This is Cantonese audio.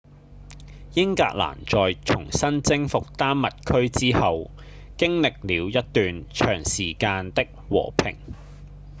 英格蘭在重新征服丹麥區之後經歷了一段長時間的和平